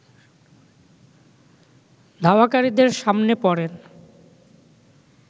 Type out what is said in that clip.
ধাওয়াকারীদের সামনে পড়েন